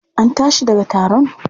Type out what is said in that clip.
An tashi daga taron?